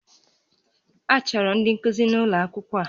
A chọrọ ndị nkuzi n'ụlọ akwụkwọ a